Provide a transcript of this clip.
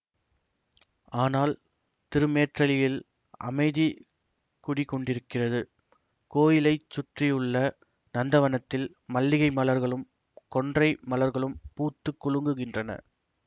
ஆனால் திருமேற்றளியில் அமைதி குடிகொண்டிருக்கிறது கோயிலை சுற்றியுள்ள நந்தவனத்தில் மல்லிகை மலர்களும் கொன்றை மலர்களும் பூத்துக் குலுங்குகின்றன